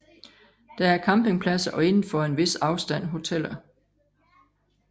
Der er campingpladser og inden for en vis afstand hoteller